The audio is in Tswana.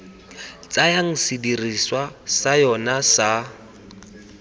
tsayang sedirisiwa sa yona sa